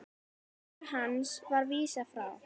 Kæru hans var vísað frá.